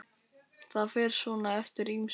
Það fer svona eftir ýmsu.